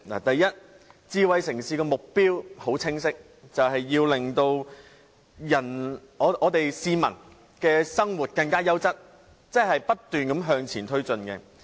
第一，智慧城市的目標很清晰，便是要令市民的生活更優質，即不斷向前推進。